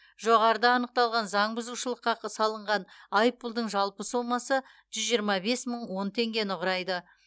жоғарыда анықталған заң бұзушылыққа салынған айыппұлдың жалпы сомасы жүз жиырма бес мың он теңгені құрайды